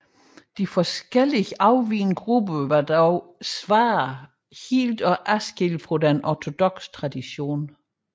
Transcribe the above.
De forskellige afvigende grupper var dog ofte svære helt at adskille fra den ortodokse tradition